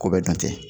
Ko bɛ dun ten